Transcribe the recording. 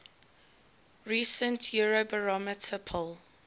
recent eurobarometer poll